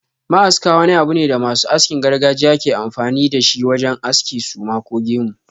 Ma'aska wani abu ne da masu askin gargajiya ke amfani da shi wajen aske suma ko gemu.